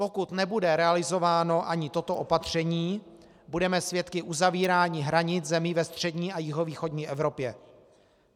Pokud nebude realizováno ani toto opatření, budeme svědky uzavírání hranic zemí ve střední a jihovýchodní Evropě.